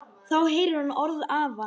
Þá heyrir hún orð afans.